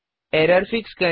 error fix करें